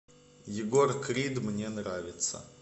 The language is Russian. егор крид мне нравится